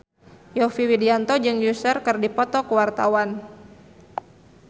Yovie Widianto jeung Usher keur dipoto ku wartawan